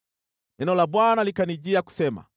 Neno la Bwana likanijia kusema: